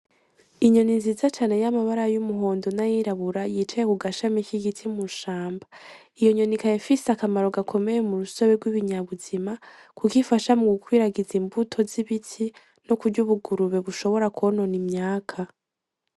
Inyoni nziza cane yamara y’umuhondo na yirabura yicaye ku gashami k’igiti mw’ishamba. Iyo nyoni ikaba ifise akamaro gakomeye mu rusobe rw’ibinyabuzima kuko ifasha mu gukwiragiza imbuto z’ibitsi no kurya ubungurube bushobora kwonona imyaká.